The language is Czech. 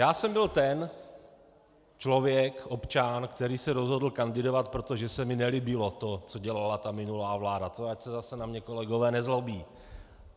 Já jsem byl ten člověk, občan, který se rozhodl kandidovat, protože se mi nelíbilo to, co dělala ta minulá vláda, to ať se zase na mě kolegové nezlobí.